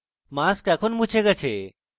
mask এখন মুছে গেছে